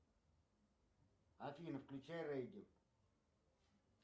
афина включай регги